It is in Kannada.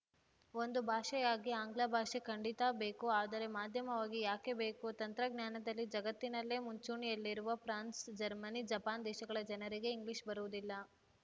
ಒಂದು ಭಾಷೆಯಾಗಿ ಆಂಗ್ಲ ಭಾಷೆ ಖಂಡಿತಾ ಬೇಕು ಆದರೆ ಮಾಧ್ಯಮವಾಗಿ ಯಾಕೆ ಬೇಕು ತಂತ್ರಜ್ಞಾನದಲ್ಲಿ ಜಗತ್ತಿನಲ್ಲೇ ಮುಂಚೂಣಿಯಲ್ಲಿರುವ ಫ್ರಾನ್ಸ್‌ ಜರ್ಮನಿ ಜಪಾನ್‌ ದೇಶಗಳ ಜನರಿಗೆ ಇಂಗ್ಲಿಷ್‌ ಬರುವುದಿಲ್ಲ